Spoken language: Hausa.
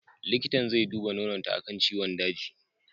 Likitan zai duba nononta akan ciwon daji.